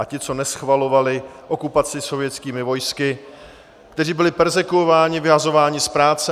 A ti, co neschvalovali okupaci sovětskými vojsky, kteří byli perzekvováni, vyhazováni z práce.